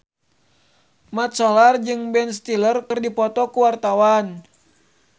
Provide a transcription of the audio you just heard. Mat Solar jeung Ben Stiller keur dipoto ku wartawan